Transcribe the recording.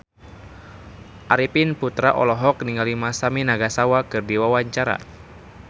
Arifin Putra olohok ningali Masami Nagasawa keur diwawancara